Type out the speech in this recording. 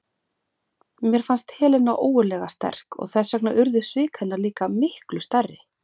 Mér fannst Helena ógurlega sterk og þess vegna urðu svik hennar líka miklu stærri.